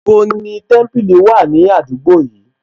Níbo ni Témípìlì wà ní àdúgbò yìí